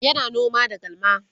yana noma da galma